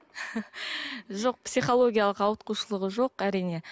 жоқ психологиялық ауытқушылығы жоқ әрине